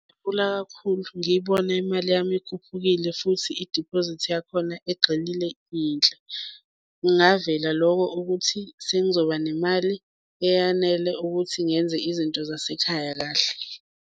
Ngajabula kakhulu, ngiyibona imali yami ikhuphukile futhi idiphozithi yakhona egxilile iyinhle kungavela loko ukuthi sengizoba nemali eyanele ukuthi ngenze izinto zasekhaya kahle.